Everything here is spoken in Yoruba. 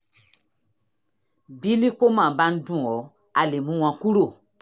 bí lípómà bá ń dùn ọ́ a lè mú wọn kúrò